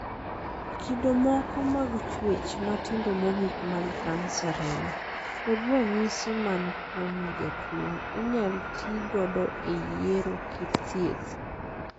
Kido moko mag chuech matindo mogik mag kansa remo, kod ranyisi man kuom jatuo inyal tii godo e yiero kit thieth.